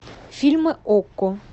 фильмы окко